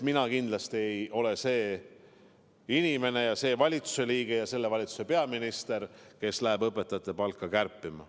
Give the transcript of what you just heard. Mina kindlasti ei ole see inimene, see valitsuse liige ja see peaminister, kes läheb õpetajate palka kärpima.